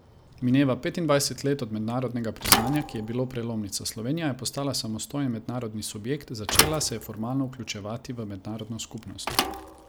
Mineva petindvajset let od mednarodnega priznanja, ki je bilo prelomnica, Slovenija je postala samostojen mednarodni subjekt, začela se je formalno vključevati v mednarodno skupnost.